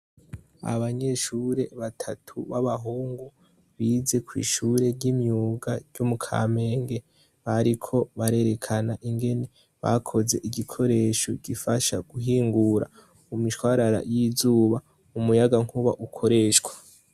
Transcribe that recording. Abanyeshuri batatu b'abahungu bize kw'ishure ry'imyuga ryo mu kamenge, bariko barerekana ingene bakoze igikoresho gifasha guhingura imishwarara y'izuba, umuyaga nkuba ukoreshwa.